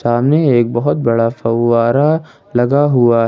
सामने एक बहुत बड़ा फवारा लगा हुआ --